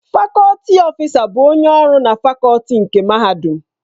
Fakọlti ọfịsa bụ onye ọrụ na fakọlti nke Mahadum.